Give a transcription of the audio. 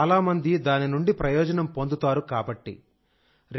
అప్పుడు చాలా మంది దాని నుండి ప్రయోజనం పొందుతారుకాబట్టి